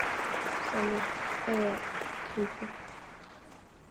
салют эра клипы